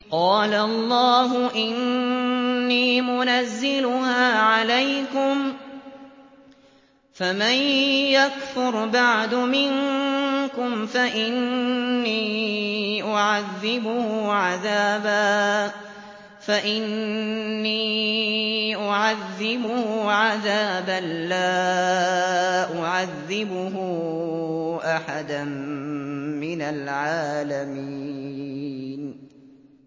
قَالَ اللَّهُ إِنِّي مُنَزِّلُهَا عَلَيْكُمْ ۖ فَمَن يَكْفُرْ بَعْدُ مِنكُمْ فَإِنِّي أُعَذِّبُهُ عَذَابًا لَّا أُعَذِّبُهُ أَحَدًا مِّنَ الْعَالَمِينَ